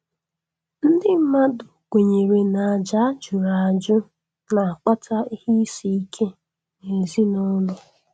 Ndị mmadụ kwenyere na àjà a jụrụ ajụ na-akpata ihe isi ike n'ezinụlọ.